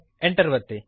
Enter ಅನ್ನು ಒತ್ತಿರಿ